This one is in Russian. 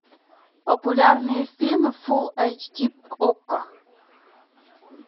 популярные фильмы фул эйч ди окко